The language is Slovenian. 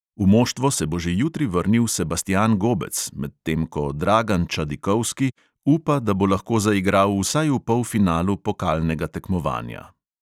V moštvo se bo že jutri vrnil sebastjan gobec, medtem ko dragan čadikovski upa, da bo lahko zaigral vsaj v polfinalu pokalnega tekmovanja.